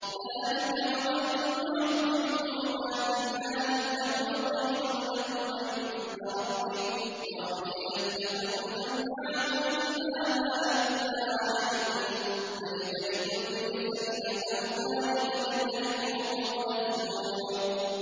ذَٰلِكَ وَمَن يُعَظِّمْ حُرُمَاتِ اللَّهِ فَهُوَ خَيْرٌ لَّهُ عِندَ رَبِّهِ ۗ وَأُحِلَّتْ لَكُمُ الْأَنْعَامُ إِلَّا مَا يُتْلَىٰ عَلَيْكُمْ ۖ فَاجْتَنِبُوا الرِّجْسَ مِنَ الْأَوْثَانِ وَاجْتَنِبُوا قَوْلَ الزُّورِ